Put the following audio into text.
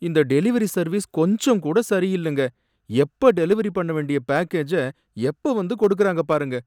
இந்த delivery service கொஞ்சங்கூட சரியில்லங்க, எப்ப டெலிவெரி பண்ண வேண்டிய பேக்கேஜ எப்ப வந்து கொடுக்கறாங்க பாருங்க